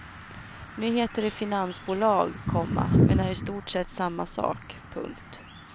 Nu heter det finansbolag, komma men är i stort sett samma sak. punkt